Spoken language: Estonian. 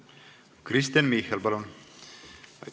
Kristen Michal, palun!